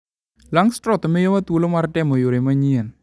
Langstroth miyowa thuolo mar temo yore manyien .